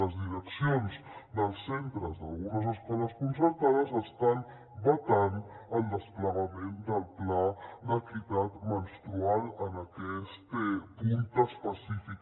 les direccions dels centres d’algunes escoles concertades estan vetant el desplegament del pla d’equitat menstrual en aquest punt específic